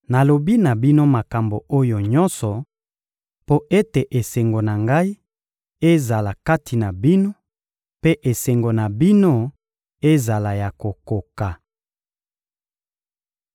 Nalobi na bino makambo oyo nyonso mpo ete esengo na Ngai ezala kati na bino, mpe esengo na bino ezala ya kokoka.